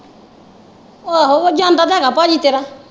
ਆਹੋ ਉਹ ਜਾਂਦਾ ਤੇ ਹੈ ਗਾ ਪਾਜੀ ਤੇਰਾ।